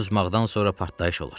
Susmaqdan sonra partlayış olur.